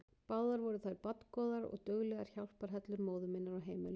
Báðar voru þær barngóðar og duglegar hjálparhellur móður minnar á heimilinu.